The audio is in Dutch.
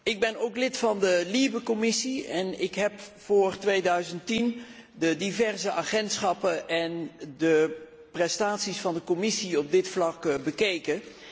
Ik ben ook lid van de Commissie LIBE en ik heb voor 2010 de diverse agentschappen en de prestaties van de commissie op dit vlak bekeken.